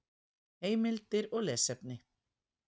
Heimildir og lesefni